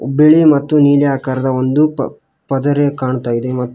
ಬಿಳಿ ಮತ್ತು ನೀಲಿ ಆಕಾರದ ಒಂದು ಪದರೆ ಕಾಣ್ತಾಯಿದೆ ಮತ್ತು --